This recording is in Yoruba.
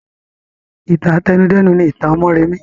Ìtàn àtẹnudẹ́nu ni ìtàn mọ́remí